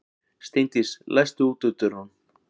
Steindís, læstu útidyrunum.